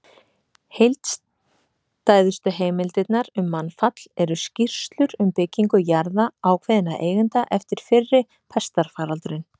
Heildstæðustu heimildirnar um mannfall eru skýrslur um byggingu jarða ákveðinna eigenda eftir fyrri pestarfaraldurinn.